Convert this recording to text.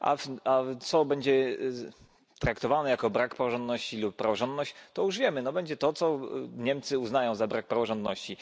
A co będzie traktowane jako brak praworządności lub praworządność, to już wiemy będzie to to, co Niemcy uznają za brak praworządności.